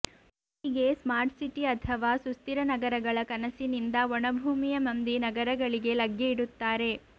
ಹೀಗೆ smart city ಅಥವಾ ಸುಸ್ಥಿರ ನಗರಗಳ ಕನಸಿನಿಂದ ಒಣ ಭೂಮಿಯ ಮಂದಿ ನಗರಗಳಿಗೆ ಲಗ್ಗೆ ಇಡುತ್ತಾರೆ